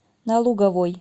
на луговой